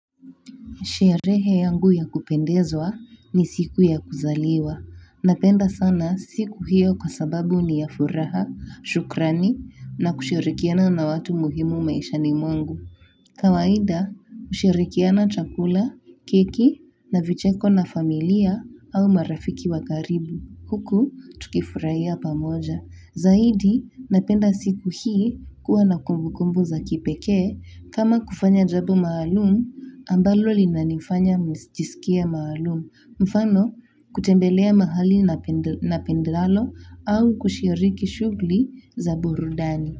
Sherehe yangu ya kupendezwa ni siku ya kuzaliwa. Napenda sana siku hiyo kwa sababu ni yafuraha, shukrani na kushirikiana na watu muhimu maishani mwangu. Kawaida, hushirikiana chakula, keki na vicheko na familia au marafiki wakaribu. Huku, tukifurahia pamoja. Zaidi, napenda siku hii kuwa na kumbu kumbu za kipekee, kama kufanya jambo maalumu, ambalo li nanifanya nijisikie maalumu, mfano kutembelea mahali na pendalo au kushiriki shughuli za burudani.